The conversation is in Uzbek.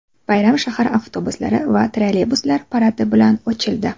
Bayram shahar avtobuslari va trolleybuslari paradi bilan ochildi.